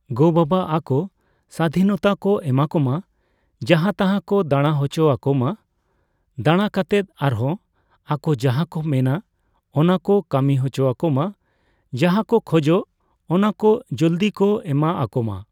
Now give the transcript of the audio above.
ᱜᱚ ᱵᱟᱵᱟ ᱟᱠᱚ ᱥᱟᱫᱷᱤᱱᱚᱛᱟ ᱠᱚ ᱮᱢᱟ ᱠᱚᱢᱟ ᱾ ᱡᱟᱦᱟᱸ ᱛᱟᱦᱟᱸ ᱠᱚ ᱫᱟᱬᱟ ᱦᱚᱪᱚ ᱟᱠᱚᱢᱟ ᱾ᱫᱟᱬᱟ ᱠᱟᱛᱮᱫ ᱟᱨᱦᱚᱸ ᱟᱠᱚ ᱡᱟᱦᱟᱸ ᱠᱚ ᱢᱮᱱᱟ ᱚᱱᱟ ᱠᱚ ᱠᱟᱹᱢᱤ ᱦᱚᱪᱚᱣᱟᱠᱚᱢᱟ ᱾ᱡᱟᱦᱟᱸ ᱠᱚ ᱠᱷᱚᱡᱚᱜ ᱚᱱᱟ ᱠᱚ ᱡᱚᱞᱫᱤ ᱠᱚ ᱮᱢᱟ ᱟᱠᱚᱢᱟ ᱾